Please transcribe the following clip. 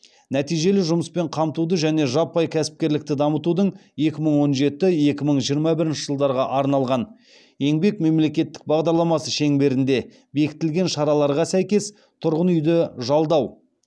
нәтижелі жұмыспен қамтуды және жаппай кәсіпкерлікті дамытудың екі мың он жеті екі мың жиырма бірінші жылдарға арналған еңбек мемлекеттік бағдарламасы шеңберінде бекітілген шараларға сәйкес тұрғын үйді жалдау